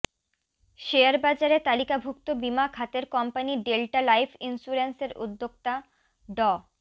শেয়ারবাজারে তালিকাভুক্ত বিমা খাতের কোম্পানি ডেল্টা লাইফ ইন্স্যুরেন্সের উদ্যোক্তা ড